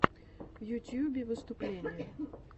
в ютьюбе выступления